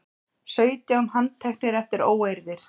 Sautján handteknir eftir óeirðir